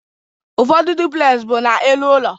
Ụfọdụ duplez bụ n'elu ụlọ.